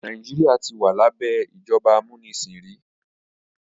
Nàìjíríà ti wà lábẹ́ ìjọba amúnisìn rí